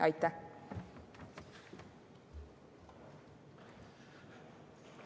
Aitäh!